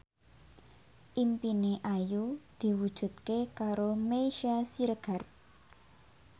impine Ayu diwujudke karo Meisya Siregar